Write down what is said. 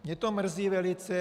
Mě to mrzí velice.